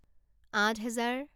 আঠহেজাৰ